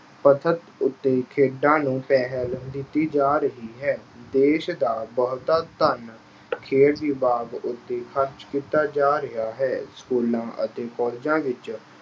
ਪੱਧਰ ਉੱਤੇ ਖੇਡਾਂ ਨੂੰ ਪਹਿਲ ਦਿੱਤੀ ਜਾ ਰਹੀ ਹੈ। ਦੇਸ਼ ਦਾ ਬਹੁਤਾ ਧਨ, ਖੇਡ ਰਿਵਾਜ਼ ਉੱਤੇ ਖਰਚ ਕੀਤਾ ਜਾ ਰਿਹਾ ਹੈ। schools ਅਤੇ colleges ਵਿੱਚ